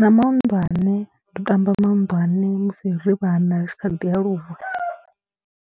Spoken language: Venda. na mahunḓwane, ndo tamba mahunḓwane musi ri vhana tshi kha ḓialuwa.